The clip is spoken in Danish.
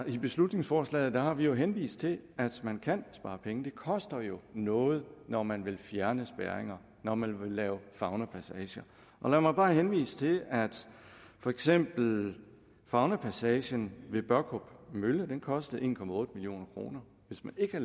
i beslutningsforslaget har vi henvist til at man kan spare penge det koster jo noget når man vil fjerne spærringer når man vil lave faunapassager lad mig bare henvise til at for eksempel faunapassagen ved børkop mølle kostede en million kroner hvis man ikke